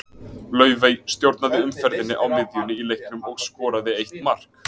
Laufey stjórnaði umferðinni á miðjunni í leiknum og skoraði eitt mark.